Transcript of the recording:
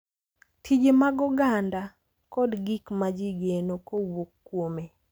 Tije mag oganda, kod gik ma ji geno kowuok kuome